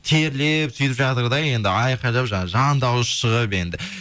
терлеп сөйтіп жатыр да енді айқалап жаңағы жан дауысы шығып енді